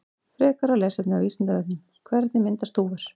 Frekara lesefni á Vísindavefnum: Hvernig myndast þúfur?